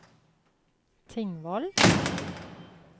Tingvoll